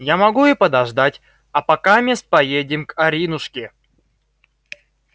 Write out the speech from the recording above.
я могу и подождать а покамест поедем к аринушке